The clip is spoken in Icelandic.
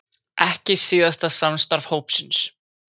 Ekki síðasta samstarf hópsins